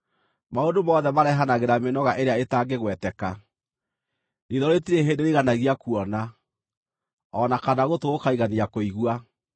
Maũndũ mothe marehanagĩra mĩnoga ĩrĩa ĩtangĩgweteka. Riitho rĩtirĩ hĩndĩ rĩiganagia kuona, o na kana gũtũ gũkaigania kũigua.